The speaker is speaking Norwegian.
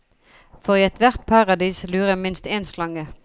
For i ethvert paradis lurer minst én slange.